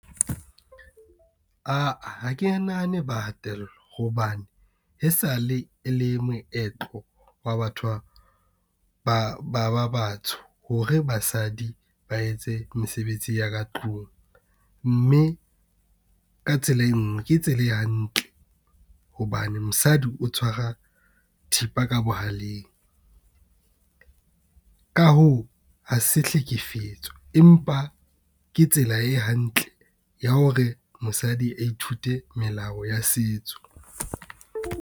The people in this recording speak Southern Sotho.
Ha ke nahane ba hatellwa, hobane e sale e le moetlo wa batho ba batsho hore basadi ba etse mesebetsi ya ka tlung mme ka tsela e nngwe, ke tsela e hantle hobane mosadi o tshwara thipa ka bohaleng, ka hoo, ha se hlekefetswa, empa ke tsela e hantle ya hore mosadi a ithute melao ya setso.